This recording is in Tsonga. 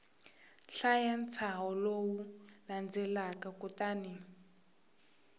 hlaya ntshaho lowu landzelaka kutani